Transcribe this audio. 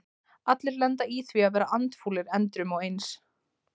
Allir lenda í því að vera andfúlir endrum og eins.